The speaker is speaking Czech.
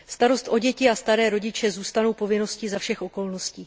Starost o děti a staré rodiče zůstanou povinností za všech okolností.